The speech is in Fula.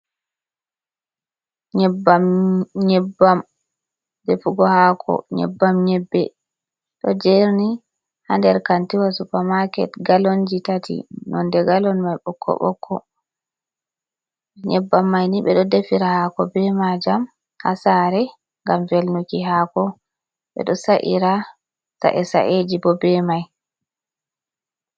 Nyebbam. Nyebbam defugo haako, neyebbam nyebbe ɗo jerni haa nder kantiwa supa maaket gallonji tati, nonde galon man ɓokko-ɓokko. Nyebbam mai nii ɓe ɗo defira haako be majam haa saare ngam velnuki hako, ɓe ɗo sa’ira sa'e sa’eji bo be mai.